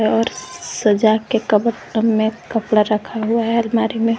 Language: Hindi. और सजा के में कपड़ा रखा हुआ है अलमारी में।